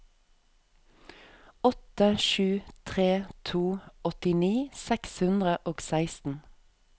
åtte sju tre to åttini seks hundre og seksten